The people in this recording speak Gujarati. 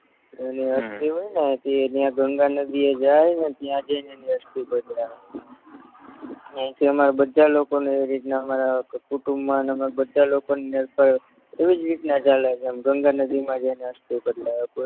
તો હમ એની અસ્થી હોયને તે ન્યા ગંગાનદીએ જાય ને ત્યાં જય ને અસ્થી પધરાવે આયથી હમારે બધાલોકોને એવી રીતના હમારા કુટુંબમાં હમે બધા લોકોને ગંગાનદીમાં જયને અસ્થી